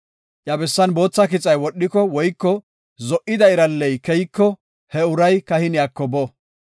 iya bessan bootha kixay wodhiko woyko zo77ida iralley keyiko he uray kahiniyako bo.